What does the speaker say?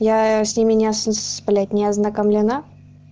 я с ним меня сплетни ознакомлена